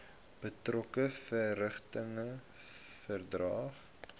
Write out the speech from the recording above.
betrokke verrigtinge verdaag